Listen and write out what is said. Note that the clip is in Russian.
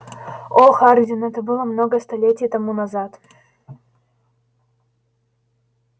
о хардин это было много столетий тому назад